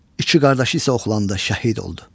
İki qardaşı isə oxlandı, şəhid oldu.